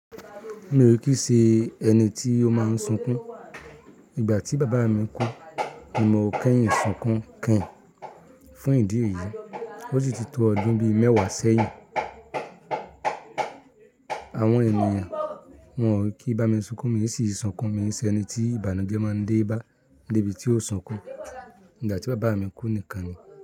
Mi ò kíi ṣe ẹni tí ó máa ń sunkún. Ìgbà tí bàbáa mi kú, mi ò mọ kẹ́yìn sunkún keyin fún ìdí èyií. Ó si ti tó ọdún bí mẹ́wàá sẹ́yìn. Àwọn ènìyàn wòn ó kií bá mi sunkún, mii sì n sunkún. Mei ṣeni tí ìbànújẹ́ máa ń dé bá debi tí ó sunkún. Ìgbà tí bàbáa mi kú nìkan ni.